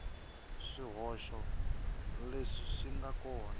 swihoxo leswi swi nga kona